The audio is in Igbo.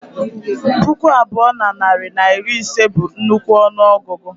Puku abụọ na narị na iri ise bụ nnukwu ọnụ ọgụgụ